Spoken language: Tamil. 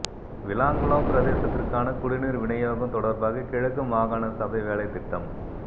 விளாங்குளம் பிரதேசத்திற்கான குடிநீர் விநியோகம் தொடர்பாக கிழக்கு மாகாண சபை வேலைத்திட்டம்